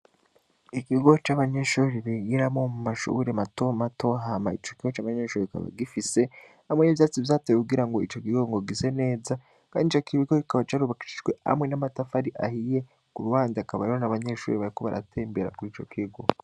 Igigo c'abanyeshuri bigiramo mu mashuburi mato matohama ico kigo c'abanyeshuri bikaba gifise hamwe n'ivyatsi vyatewe kugira ngo ico gigo ngo gise neza, kandi icakibigo gikaba carubakijijwe hamwe n'amatafari ahiye ku rubanda akaba yoro na abanyeshuri bayako baratembera kuri ico kigo.